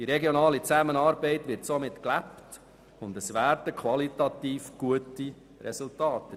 Die regionale Zusammenarbeit wird somit gelebt und erbringt qualitativ gute Resultate.